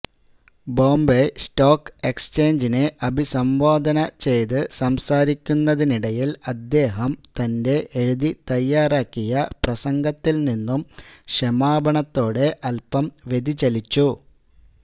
Bombay stock എക്സ്ചേഞ്ചിനെ അഭിസംബോധന ചെയ്ത് സംസാരിക്കുന്നതിനിടയില് അദ്ദേഹം തന്റെ എഴുതിത്തയ്യാറാക്കിയ പ്രസംഗത്തില് നിന്നും ക്ഷമാപണത്തോടെ അല്പം വ്യതിചലിച്ചു